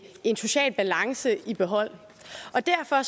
en social balance i behold og derfor